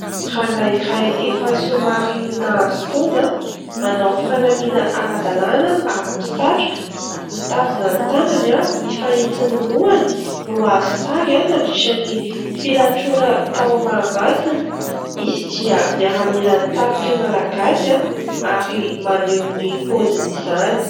Rangahy iray efa somary nahazo taona, manao fanamiana ara-dalàna ary misatroka, mitazona ny tanany mifanitsy ny lohany no azo sary, nandritra ny filatroana tao Mahamasina. Izy dia miaramilan'ny tafika Malagasy ary maneho ny paoziny izany.